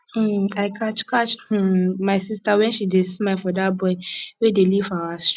um i catch catch um my sister wen she dey smile for dat boy wey dey live for our street